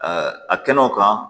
a kɛnɛ o kan